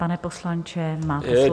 Pane poslanče, máte slovo.